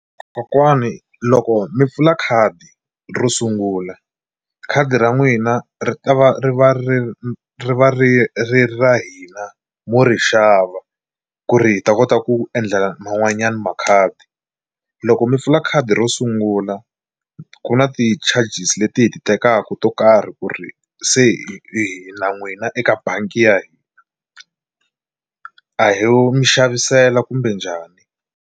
Kokwani loko mi pfula khadi ro sungula khadi ra n'wina ri ta va ri va ri ri ri va ri ri ra hina mo ri xava ku ri hi ta kota ku endla man'wanyana makhadi loko mi pfula khadi ro sungula ku na ti-charges leti hi ti tekaku to karhi ku ri se hi na n'wina eka bangi ya hina a ho mi xavisela kumbe njhani.